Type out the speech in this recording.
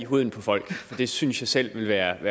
huden på folk det synes jeg selv ville være